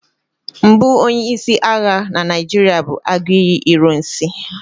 mbụ onye-isi agha na Naijiria bụ Aguiyi ironsi